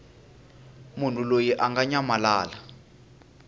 munhu loyi a nga nyamalala